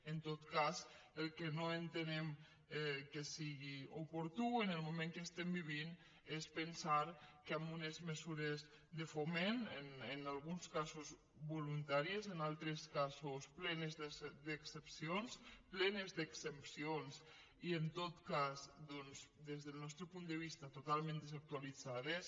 en tot cas el que no entenem que sigui oportú en el moment que estem vivint és pensar que amb unes mesures de foment en alguns casos voluntàries en altres casos plenes d’excepcions plenes d’exempcions i en tot cas doncs des del nostre punt de vista totalment desactualitzades